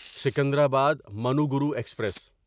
Secunderabad Manuguru express